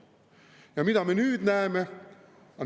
Ja mida me nüüd näeme?